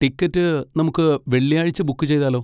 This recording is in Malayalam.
ടിക്കറ്റ് നമുക്ക് വെള്ളിയാഴ്ച ബുക്ക് ചെയ്താലോ?